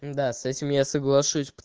да с этим я соглашусь пот